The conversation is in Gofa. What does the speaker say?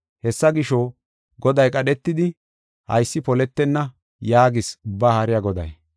Hessa gisho, Goday qadhetidi, “Haysi poletenna” yaagees Ubbaa Haariya Goday.